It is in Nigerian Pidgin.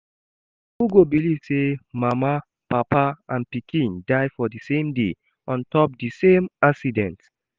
Who go believe say mama, papa and pikin die for the same day on top the same accident